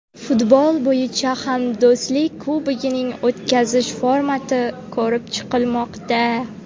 Futbol bo‘yicha Hamdo‘stlik Kubogini o‘tkazish formati ko‘rib chiqilmoqda.